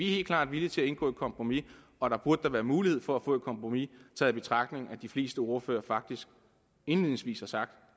helt klart villige til at indgå et kompromis og der burde da være mulighed for at få et kompromis taget i betragtning at de fleste ordførere faktisk indledningsvis har sagt